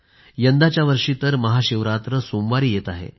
यंदाच्या वर्षी तर महाशिवरात्र सोमवारी येत आहे